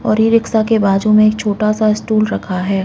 और इ-रिक्शा के बाजु में एक छोटा सा स्टूल रखा है।